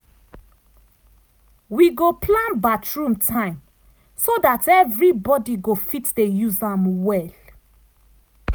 wi go plan bathroom time so dat everybody go fit dey use am well.